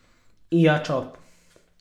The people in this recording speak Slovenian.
Ija Čop.